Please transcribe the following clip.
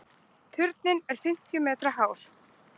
Turninn er fimmtíu metra hár.